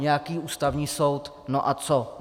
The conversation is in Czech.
Nějaký Ústavní soud, no a co.